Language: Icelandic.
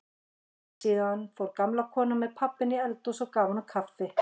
Síðan fór gamla konan með pabba inn í eldhús og gaf honum kaffi.